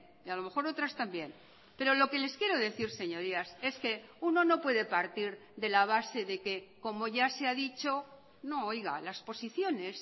y a lo mejor otras también pero lo que les quiero decir señorías es que uno no puede partir de la base de que como ya se ha dicho no oiga las posiciones